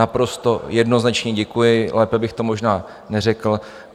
Naprosto jednoznačně děkuji, lépe bych to možná neřekl.